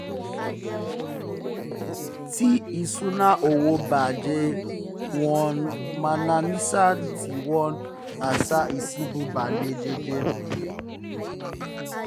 tí ìṣúnná owó bà jẹ́ wọ́n um máa ń ṣàníyàn tí wọ́n á um sì banú jẹ́ jẹ́